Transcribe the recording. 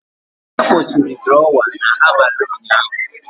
A kpọchiri drawer n'abalị ụnyahụ.